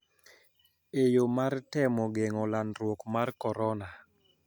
E yo mar temo geng`o landruok mar korona